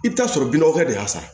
I bɛ taa sɔrɔ binɔgɔ de y'a san